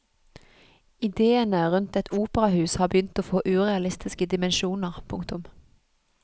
Idéene rundt et operahus har begynt å få urealistiske dimensjoner. punktum